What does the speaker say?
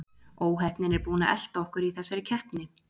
Óheppnin er búin að elta okkur í þessari keppni.